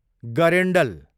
गरेन्डल